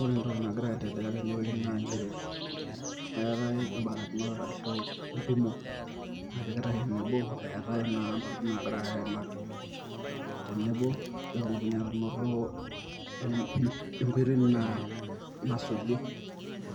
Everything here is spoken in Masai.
Ore entoki nagira aendelea tene naa nchere na keetae im`barikinot arshu entumo napikitae enebo eetae naa ntokin naagirai aimaki. Tenebo pee etumokini aanoto enkoitoi nasu nasuji